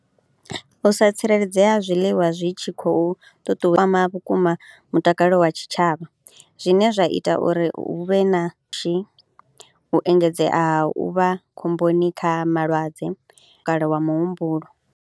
U sa tsireledzea ha zwiliwa zwi tshi khou ṱuṱuwa kwama vhukuma mutakalo wa tshitshavha zwine zwa ita uri hu vhe na pfhushi, u engedzea ha u vha khomboni kha malwadze kale wa muhumbulo.